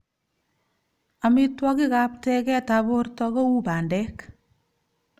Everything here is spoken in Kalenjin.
Amitwokik ab teget ab borto ko u bandek.